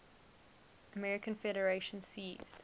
american federation ceased